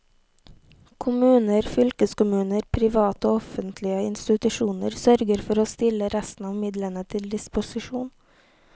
Kommuner, fylkeskommuner, private og offentlige institusjoner sørger for å stille resten av midlene til disposisjon.